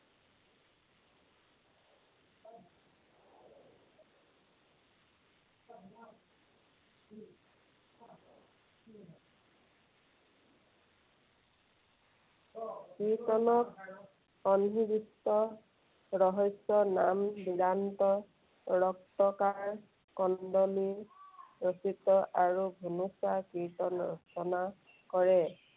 কীৰ্ত্তনত সন্নিৱিষ্ট ৰহস্য নাম ৰক্তকাৰ কন্দলী ৰচিত আৰু ঘুনুচা কীৰ্ত্তন ৰচনা কৰে।